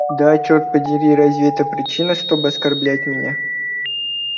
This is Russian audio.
да чёрт подери разве это причина чтобы оскорблять меня